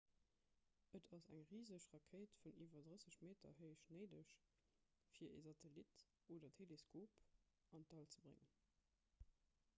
et ass eng riseg rakéit vun iwwer 30 meter héich néideg fir e satellit oder teleskop an d'all ze bréngen